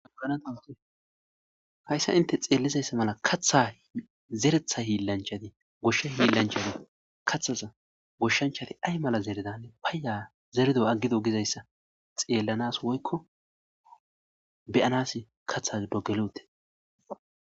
aanahayssa inte xeellizayssa mala katha zeretha hiillanchati goshsha hiillanchati kathaza goshshanchati ay mala zeredane paayya zerdo aggido gizayssa xeellanas woykko beyanas katha dogeloote